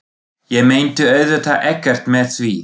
Ég meinti auðvitað ekkert með því.